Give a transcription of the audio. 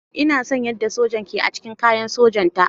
Ina son yadda wannan sojan ke ac cikin kayan sojanta.